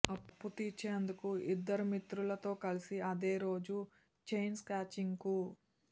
అప్పు తీర్చేందుకు ఇద్దరు మిత్రులతో కలిసి అదే రోజు చైన్స్నాచింగ్కు